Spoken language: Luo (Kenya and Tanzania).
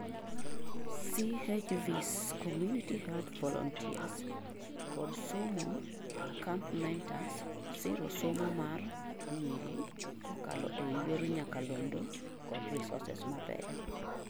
CHVs[ Community Health Volunteers] kod somo camp mentors sirosomo mar nyiri kokalo ei yor nyakalono, kod resources mabeyo